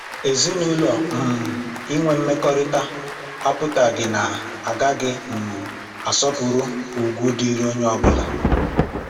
Ezinụlọ um inwe mmekọrịta apụtaghị na agaghị um asọpụrụ ugwu dịịrị onye ọbụla